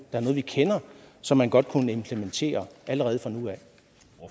er noget vi kender som man godt kunne implementere allerede